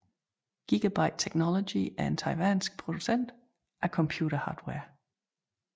Gigabyte Technology er en taiwansk producent af computerhardware